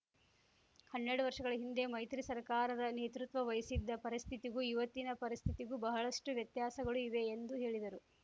ಹನ್ನೆರಡು ವರ್ಷಗಳ ಹಿಂದೆ ಮೈತ್ರಿ ಸರ್ಕಾರದ ನೇತೃತ್ವ ವಹಿಸಿದ್ದ ಪರಿಸ್ಥಿತಿಗೂ ಇವತ್ತಿನ ಪರಿಸ್ಥಿತಿಗೂ ಬಹಳಷ್ಟು ವ್ಯತ್ಯಾಸಗಳು ಇವೆ ಎಂದು ಹೇಳಿದರು